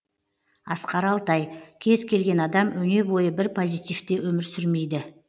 асқар алтай кез келген адам өне бойы бір позитивте өмір сүрмейді